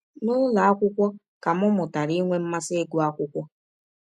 N’ụlọ akwụkwọ ka m mụtara inwe mmasị ịgụ akwụkwọ.